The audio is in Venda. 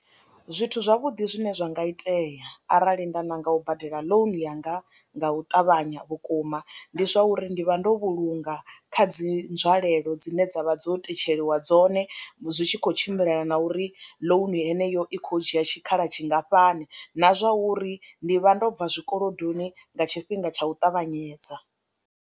Zwithu zwavhuḓi zwine zwa nga itea arali nda nanga u badela ḽounu yanga nga u ṱavhanya vhukuma ndi zwa uri ndi vha ndo vhulunga kha dzi nzwalelo dzine dza vha dzo tetsheliwa dzone, zwi tshi khou tshimbilelana na uri ḽounu heneyo i khou dzhia tshikhala tshingafhani na zwa uri ndi vha ndo bva zwikolodoni nga tshifhinga tsha u ṱavhanyedza.